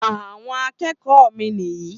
àwon akékòó mi ní yi